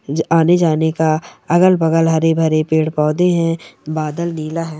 ज-आने जाने का अगल बगल हर भरे पेड़-पौधे है बादल नीला है।